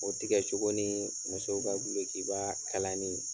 O tigɛ cogoɔ ni musow ka dolokiba kalani.